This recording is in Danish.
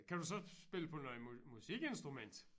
Kan du så spille på noget musikinstrument?